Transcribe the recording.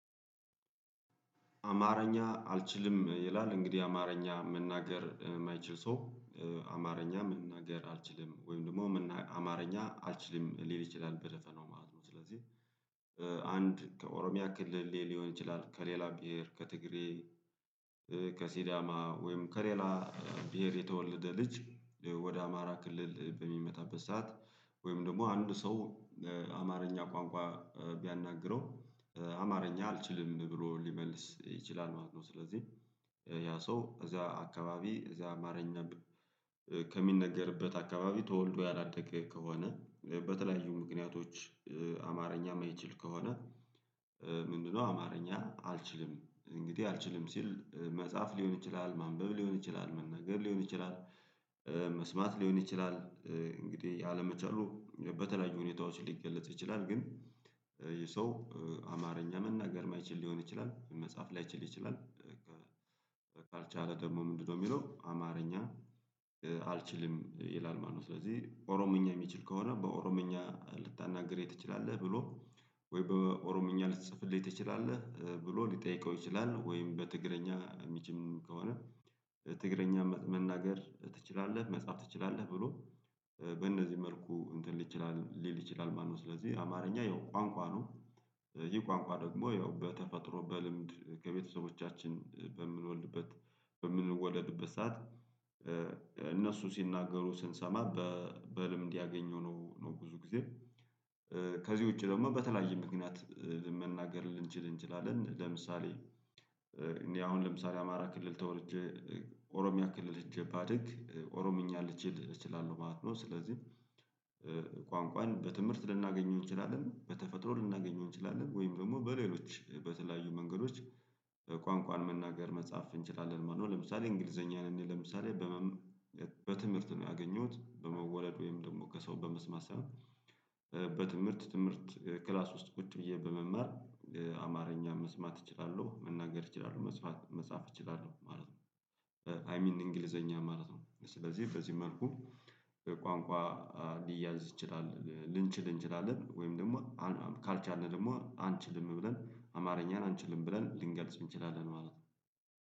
አማርኛ አልችልም ይላል እንግዲህ አማርኛ መናገር የማይችል ሰው አማርኛ መናገር አልችልም ወይም ደግሞ አማርኛ አልችልም ሊል ይችላል በደፈናው ማለት ነው። ስለዚህ አንድ ከኦሮሚያ ክልል ሊሆን ይችላል። ከሌላ ብሄር ከትግሬ ከሲዳማ ወይም ከሌላ ብሄር የተወለደ ልጅ ወደ አማራ ክልል በሚመጣበት ሰዓት ወይም ደግሞ አንድ ሰው አማርኛ ቋንቋ ቢያናግረው አማርኛ አልችልም ብሎ ሊመልስ ይችላል ማለት ነው። ስለዚህ ያ ሰው እዚያ አካባቢ እዚያ አማርኛ ከሚነገርበት አካባቢ ተወልዶ ያላደገ ከሆነ በተለያዩ ምክንያቶች አማርኛ የማይችል ከሆነ። ምንድነው አማርኛ አልችልም እንግዲህ አልችልም ሲል መጻፍ ሊሆን ይችላል ማንበብ ሊሆን ይችላል መናገር ሊሆን ይችላል መስማት ሊሆን ይችላል። እንግዲህ አለመቻሉ በተለያዩ ሁኔታዎች ሊገለጽ ይችላል ግን ይህ ሰው አማርኛ መናገር የማይችል ሊሆን ይችላል መጻፍ ላይችል ይችላል። ካልቻለ ደግሞ ምንድነው የሚለው አማርኛ አልችልም ይላል ማለት ነው። ስለዚህ ኦሮምኛ የሚችል ከሆነ በኦሮምኛ ልታናግረኝ ትችላለህ ብሎ ወይ በኦሮምኛ ልትጽፍልኝ ትችላለህ ብሎ ሊጠይቀው ይችላል። ወይም በትግረኛ የምችልም ከሆነ ትግረኛ መናገር ትችላለህ መጻፍ ትችላለህ ብሎ በእነዚህ መልኩ እንትን ይችላል ሊል ይችላል ማለት ነው። ስለዚህ አማርኛ ያው ቋንቋ ነው። ይህ ቋንቋ ደግሞ ያው በተፈጥሮ በልምድ ከቤተሰቦቻችን በምንወልድበት በምንወለድበት ሰዓት እነሱ ሲናገሩ ስንሰማ በልምድ ያገኘው ነው ብዙ ጊዜ። ከዚህ ውጪ ደግሞ በተለያየ ምክንያት መናገር ልንችል እንችላለን ለምሳሌ። እኔ አሁን ለምሳሌ አማራ ክልል ተወልጀ ኦሮሚያ ክልል ሄጄ ባድግ ኦሮምኛን ልችል እችላለሁ ማለት ነው። ስለዚህ ቋንቋን በትምህርት ልናገኘው እንችላለን በተፈጥሮ ልናገኘው እንችላለን ወይም ደግሞ በሌሎች በተለያዩ መንገዶች ቋንቋን መናገር መጻፍ እንችላለን ማለት ነው። ለምሳሌ እንግሊዘኛን እንዴ ለምሳሌ? በትምህርት ነው ያገኘሁት በመወለድ ወይም ደግሞ ከሰው በመስማት ሳይሆን። በትምህርት ትምህርት ክላስ ውስጥ ቁጭ ብዬ በመማር አማርኛ መስማት እችላለሁ መናገር እችላለሁ መጻፍ መጻፍ እችላለሁ ማለት ነው። አይ ሚን እንግሊዘኛ ማለት ነው። ስለዚህ በዚህ መልኩ ቋንቋ ሊያዝ ይችላል ልንችል እንችላለን ወይም ደግሞ ካልቻልን ደግሞ አንችልም ብለን አማርኛን አንችልም ብለን ልንገልጽ እንችላለን ማለት ነው